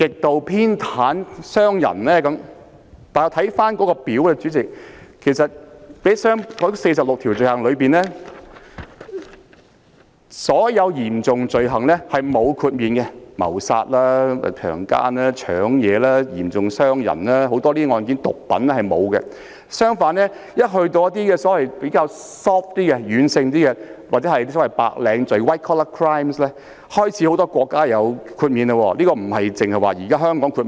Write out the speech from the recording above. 《逃犯條例》附表1載列的46項罪行類別當中，所有嚴重罪行，包括謀殺、強姦、搶劫、嚴重傷人和毒品等案件也沒有獲得豁免；相反，對於一些比較軟性或所謂的白領罪行，很多國家也開始作出豁免。